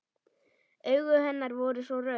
Augu hennar voru svo rauð.